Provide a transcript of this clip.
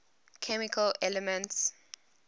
chemical elements